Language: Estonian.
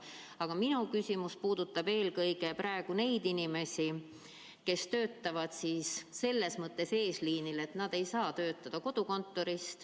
Aga minu küsimus puudutab eelkõige neid inimesi, kes töötavad selles mõttes eesliinil, et nad ei saa töötada kodukontoris.